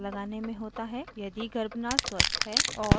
यदि गर्भनाल स्वस्थ है और